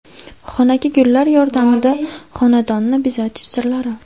Xonaki gullar yordamida xonadonni bezatish sirlari.